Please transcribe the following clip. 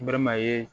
N baliman ye